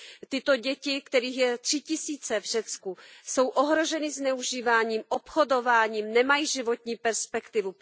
Tyto děti, kterých je tři tisíce v Řecku, jsou ohroženy zneužíváním, obchodováním, nemají životní perspektivu.